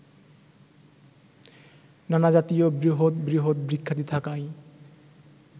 নানাজাতীয় বৃহৎ বৃহৎ বৃক্ষাদি থাকায়